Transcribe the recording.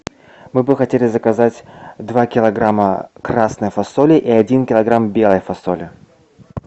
мы бы хотели заказать два килограмма красной фасоли и один килограмм белой фасоли